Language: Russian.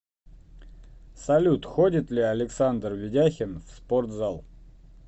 салют ходит ли александр ведяхин в спортзал